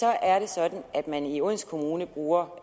er sådan at man i odense kommune bruger